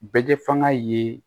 Bɛ kɛ fanga ye